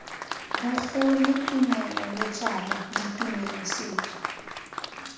bogole tumelo letswalo ditumelo setso